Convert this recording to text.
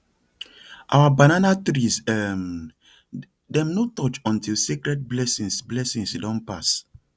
our banana trees um dem no touch until sacred blessings blessings don pass